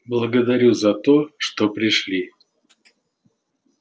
благодарю за то что пришли